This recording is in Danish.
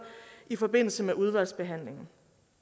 i forbindelse med udvalgsbehandlingen